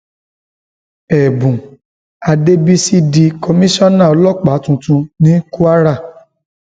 ẹbùn àdẹsísì di komisanna ọlọpàá tuntun ní kwara